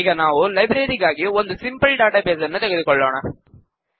ಈಗ ನಾವು ಲೈಬ್ರರಿ ಗಾಗಿ ಒಂದು ಸಿಂಪಲ್ ಡಾಟಾಬೇಸ್ ನ್ನು ತೆಗೆದುಕೊಳ್ಳೋಣ